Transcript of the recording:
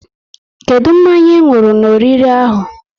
Kedụ mmanya ị nwụrụ n'oriri ahụ?